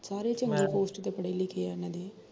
ਸਾਰੇ ਚੰਗੇ post ਤੇ ਪੜੇ ਲਿਖੇ ਆ ਏਹਨਾ ਦੇ